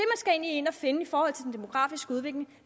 skal ind og finde i forhold til den demografiske udvikling